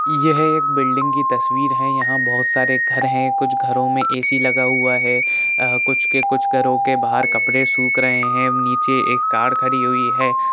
ये है एक बिल्डिंग की तस्वीर है यहाँ बोहोत सारे घर हैं कुछ घरों में ए.सी. लगा हुआ है अ कुछ के कुछ घरों के बाहर कपड़े सुख रहे हैं अम नीचे एक कार खड़ी हुई है।